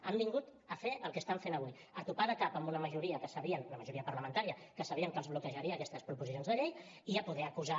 han vingut a fer el que estan fent avui a topar de cap amb una majoria que sabien una majoria parlamentària que sabien que els bloquejaria aquestes proposicions de llei i a poder acusar